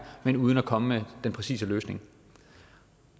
men uden at komme med den præcise løsning